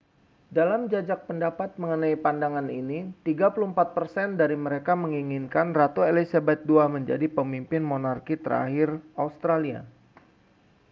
dalam jajak pendapat mengenai pandangan ini 34 persen dari mereka menginginkan ratu elizabeth ii menjadi pemimpin monarki terakhir australia